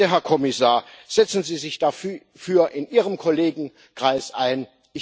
Bitte, Herr Kommissar, setzen Sie sich dafür in Ihrem Kollegenkreis ein!